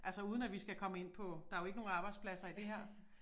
Altså uden at vi skal komme ind på der jo ikke nogen arbejdspladser i det her